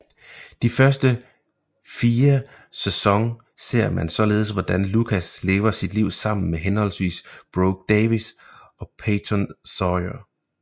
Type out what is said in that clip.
De første 4 sæson ser man således hvordan Lucas lever sit liv sammen med henholdsvis Brooke Davis og Peyton Sawyer